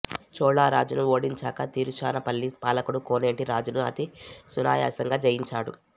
చోళ రాజును ఓడించాక తిరుచునాపల్లి పాలకుడు కోనేటి రాజును అతి సునాయాసంగా జయించాడు